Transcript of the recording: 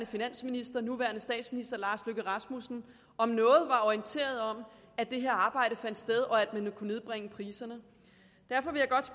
finansminister og nuværende statsminister om noget var orienteret om at det her arbejde fandt sted og at ville kunne nedbringe priserne derfor vil jeg godt